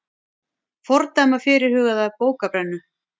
Fordæma fyrirhugaða bókabrennu